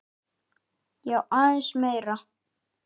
Já, aðeins meira.